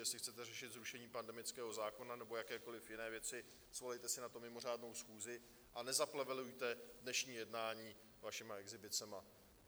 Jestli chcete řešit zrušení pandemického zákona nebo jakékoli jiné věci, svolejte si na to mimořádnou schůzi a nezaplevelujte dnešní jednání vašimi exhibicemi.